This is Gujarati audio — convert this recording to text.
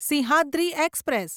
સિંહાદ્રી એક્સપ્રેસ